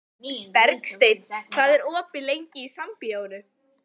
Bergsteinn, hvað er opið lengi í Sambíóunum?